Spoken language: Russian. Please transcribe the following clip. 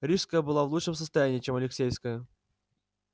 рижская была в лучшем состоянии чем алексеевская